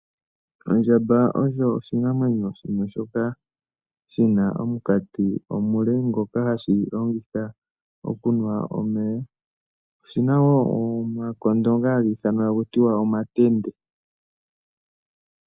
Ondjamba oyo oshinamwenyo shimwe shoka shina omukati omule, ngoka hagu gu longitha oku nwa omeya. Oshina woo omakondo ngoka haga ithanwa omatende.